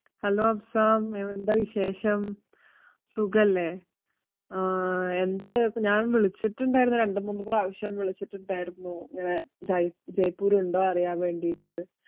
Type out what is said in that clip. Hello Afsam ഉം എന്താ വിശേഷം? സുഗല്ലേ? ആഹ് എന്തായിപ്പ~ ഞാൻ വിളിച്ചിട്ടുണ്ടായിരുന്നു രണ്ടുമൂന്നു പ്രാവശ്യം വിളിച്ചിട്ടുണ്ടായിരുന്നു, ഇങ്ങനെ ജയ്~ ജയ്‌പൂരുണ്ടോ അറിയാൻ വേണ്ടീട്ട്